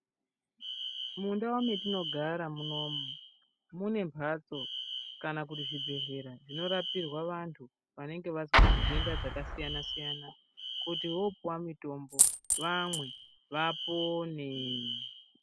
Mundau mwetinogara munomu mune mbatso kana kuti zvibhedhlera zvinorapirwa vantu vanenge vazwa ndenda dzakasiyana siyana kuti vopuwa mutombo kuti vamwe vapone.